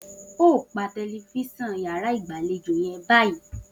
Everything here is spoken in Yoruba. O óò pa te̩lifís̩an yàrá ìgbàlejò ye̩n báyìí!